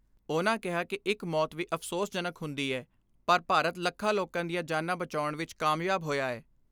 ਉਨ੍ਹਾਂ ਕਿਹਾ ਕਿ ਇੱਕ ਮੌਤ ਵੀ ਅਫਸੋਸ ਜਨਕ ਹੁੰਦੀ ਏ, ਪਰ ਭਾਰਤ ਲੱਖਾਂ ਲੋਕਾਂ ਦੀਆਂ ਜਾਨਾਂ ਬਚਾਉਣ ਵਿੱਚ ਕਾਮਯਾਬ ਹੋਇਆ ਏ।